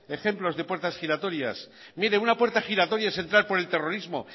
ejemplos de puertas giratorias mire una puerta giratoria es entrar por el terrorismo